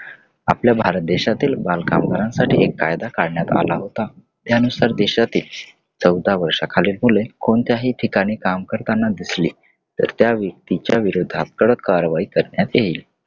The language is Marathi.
आपल्या भारत देशातील बालकामगारांची एक कायदा काढन्याय आला होता. त्यानुसार देशातील चौदा वर्षाखालील मुलं कोणत्याही ठिकाणी काम करताना दिसली तर त्या व्यक्तीच्या विरोधात कडक कारवाई करण्यात येईल.